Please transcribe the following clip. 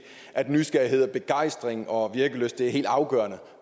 at nysgerrighed begejstring og virkelyst er helt afgørende